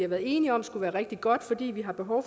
været enige om skulle være rigtig godt fordi vi har behov